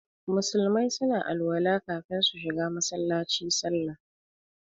Musulmai suna alwala kafin su shiga Masallaci sallah.